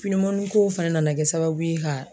ko fɛnɛ nana kɛ sababu ye ka